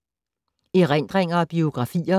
Erindringer og biografier